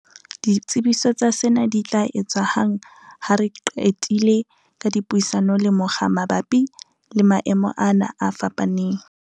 "Ditsebiso tsa sena di tla etswa hang ha re se re qetile ka dipuisano le mokga mabapi le maemo ana a fapaneng."